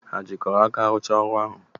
Hà jikọrọ aka rụchaa ọrụ ahụ?